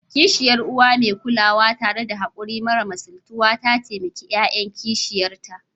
Kishiyar Uwa mai kulawa, tare da haƙuri mara misaltuwa, ta taimaki ƴaƴan kishiyarta